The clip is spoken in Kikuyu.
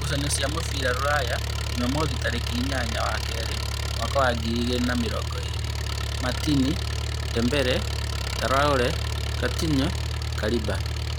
Ngucanio cia mũbira Ruraya Jumamothi tarĩki inyanya wa keerĩ mwaka wa ngirĩ igĩrĩ na mĩrongo ĩrĩ: Matini, Ndembere, Taore, Katino, Kariba